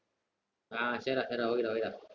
ஆஹ் சேரிடா சேரிடா okay டா okay டா